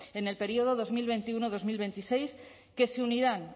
en el período dos mil veintiuno dos mil veintiséis que se unirán